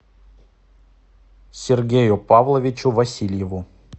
сергею павловичу васильеву